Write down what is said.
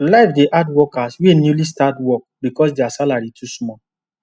life dey hard workers wey newly start work because their salary too small